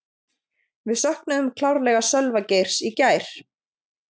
Við söknuðum klárlega Sölva Geirs í gær.